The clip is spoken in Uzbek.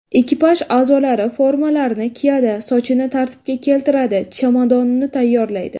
Ekipaj a’zolari formalarini kiyadi, sochini tartibga keltiradi, chemodanini tayyorlaydi.